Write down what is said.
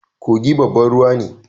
Kogi babban ruwa ne